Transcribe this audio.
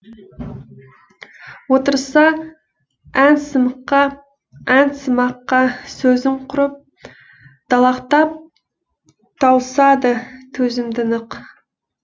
отырса әнсымаққа сөзім құрып далақтап тауысады төзімді нық